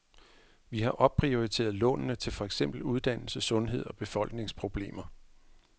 Vi har opprioriteret lånene til for eksempel uddannelse, sundhed og befolkningsproblemer.